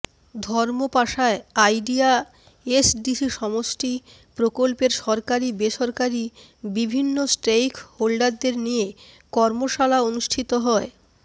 ধর্মপাশায় IDEA SDC সমষ্টি প্রকল্পের সরকারী বেসরকারি বিভিন্ন স্টেইক হোল্ডারদের নিয়ে কর্মশালা অনুষ্ঠিত হয়